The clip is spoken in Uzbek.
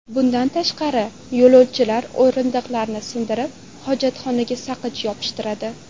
Bundan tashqari, yo‘lovchilar o‘rindiqlarni sindirib, hojatxonaga saqich yopishtiradi.